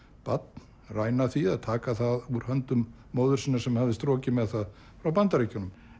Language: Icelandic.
barn ræna því eða taka það úr höndum móður sinnar sem hafði strokið með það frá Bandaríkjunum